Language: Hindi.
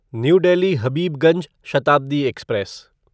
new Delhi Habibganj Shatabdi express